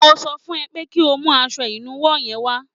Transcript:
Mo sọ fún ẹ pé kí o mú aṣọ ìnuwọ́ yẹn wá